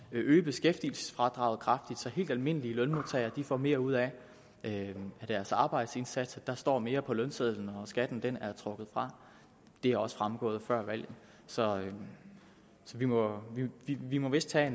at øge beskæftigelsesfradraget kraftigt så helt almindelige lønmodtagere får mere ud af deres arbejdsindsats og der står mere på lønsedlen når skatten er trukket fra er også fremgået før valget så vi må vi må vist tage